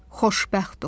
Xoşbəxt ol.